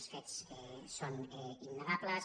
els fets són innegables